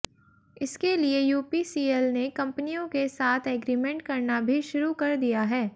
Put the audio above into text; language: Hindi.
इसके लिए यूपीसीएल ने कंपनियों के साथ एग्रीमेंट करना भी शुरू कर दिया है